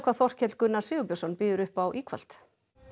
Þorkell Gunnar Sigurbjörnsson býður upp á í kvöld